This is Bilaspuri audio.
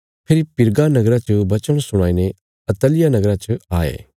फेरी पिरगा नगरा च वचन सुणाईने अत्तलिया नगरा च आये